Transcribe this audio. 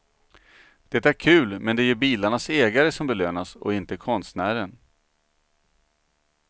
Det är kul men det är ju bilarnas ägare som belönas och inte konstnären.